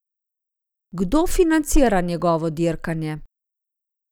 Kdo financira njegovo dirkanje?